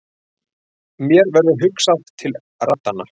Mér verður hugsað til raddanna.